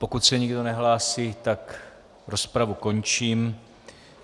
Pokud se nikdo nehlásí, tak rozpravu končím.